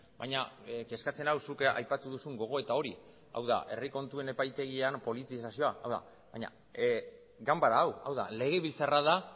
baina kezkatzen nau zuk aipatu duzun gogoeta hori hau da herri kontuen epaitegian politizazioa hau da baina ganbara hau hau da legebiltzarra da